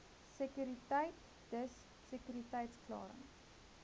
sekuriteit dis sekuriteitsklaring